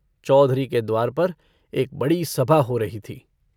चौधरी के द्वार पर एक बड़ी सभा हो रही थी।